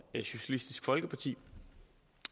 socialistisk folkeparti